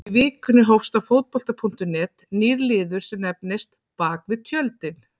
Í vikunni hófst á Fótbolta.net nýr liður sem nefnist Bakvið tjöldin.